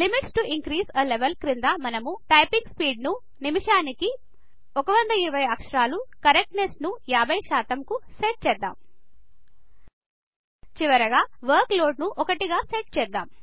limits to increase a level క్రింద మనము typing speed ను నిమిషానికి 120 అక్షరాలు కరెక్ట్నెస్ ను 50 శాతం కు సెట్ చేద్దాం చివరిగా వర్క్లోడ్ ను ఒకటికి సెట్ చేద్దాం